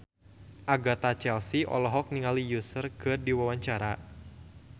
Agatha Chelsea olohok ningali Usher keur diwawancara